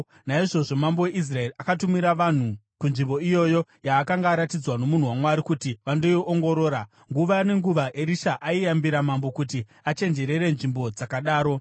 Naizvozvo mambo weIsraeri akatumira vanhu kunzvimbo iyoyo yaakanga aratidzwa nomunhu waMwari, kuti vandoiongorora. Nguva nenguva Erisha aiyambira mambo, kuti achenjerere nzvimbo dzakadaro.